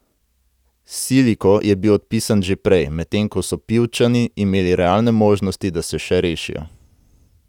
Siliko je bil odpisan že prej, medtem ko so Pivčani imeli realne možnosti, da se še rešijo.